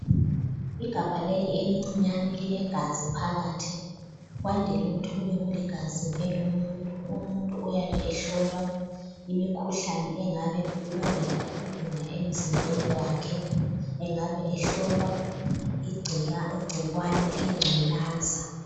Igabha leli elincinyane lilegazi phakathi kwandile ukuthi kube legazi lomuntu umuntu oyabe ehlolwe imikhuhlane engabe ibangela ukugula emzimbeni wakhe engabe ehlolwa igcikwane lengculaza.